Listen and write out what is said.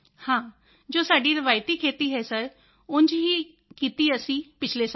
ਹਾਂ ਜੋ ਸਾਡੀ ਰਵਾਇਤੀ ਖੇਤੀ ਹੈ ਸਰ ਉਂਝ ਹੀ ਕੀਤੀ ਅਸੀਂ ਪਿਛਲੇ ਸਾਲ